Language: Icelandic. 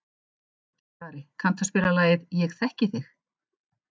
Skari, kanntu að spila lagið „Ég þekki þig“?